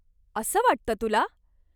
असं वाटतं तुला ?